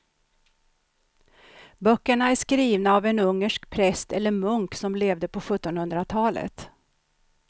Böckerna är skrivna av en ungersk präst eller munk som levde på sjuttonhundratalet.